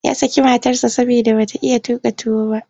Ya saki matarsa saboda ba ta iya tuƙa tuwo ba.